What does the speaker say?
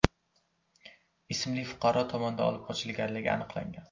ismli fuqaro tomonidan olib qochilganligi aniqlangan.